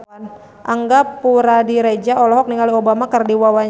Angga Puradiredja olohok ningali Obama keur diwawancara